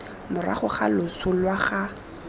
morago ga loso lwa ga